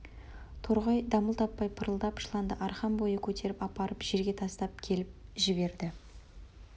торғай дамыл таппай пырылдап жыланды арқан бойы көтеріп апарып жерге тастап келіп жіберді